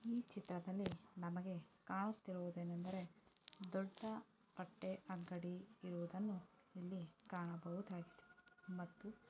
ಈ ಚಿತ್ರದಲ್ಲಿ ನಮಗೆ ಕಾಣುತ್ತಿರುವುದು ಏನೆಂದರೆ ದೊಡ್ಡ ಬಟ್ಟೆ ಅಂಗಡಿ ಇರುವುದನ್ನು ಇಲ್ಲಿ ಕಾಣಬಹುದಾಗಿದೆ. ಮತ್ತು --